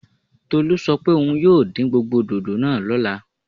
Tolú sọ pé òun yóò dín gbogbo dòdò náà lọ́la